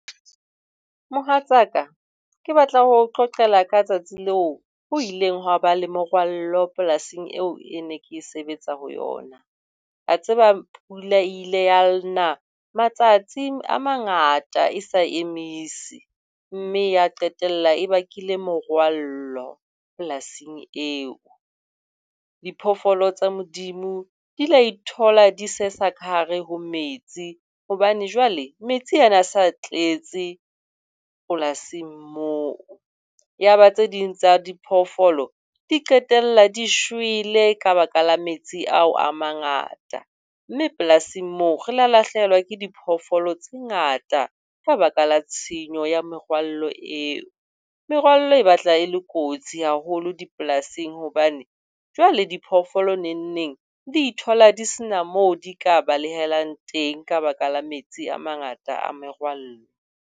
Mohatsa ka, ke batla ho qoqela ka tsatsi leo ho ileng ha ba le morwallo polasing eo ke neng ke sebetsa ho yona. Wa tseba pula ile ya na matsatsi a mangata e sa emise, mme ya qetella e bakile morwallo polasing eo. Diphoofolo tsa Modimo di ile tsa ithola di sesa ka hare ho metsi hobane jwale metsi a ne a se tletse polasing moo. Yaba tse ding tsa diphoofolo di qetella di shwele ka baka la metsi ao a mangata. Mme polasing moo re ile lahlehelwa ke diphoofolo tse ngata ka baka la tshenyo ya merwallo eo. Merwallo e batla e le kotsi haholo dipolasing hobane jwale diphoofolo nengneng di ithola di sena moo di ka balehelang teng ka baka la metsi a mangata a merwallo.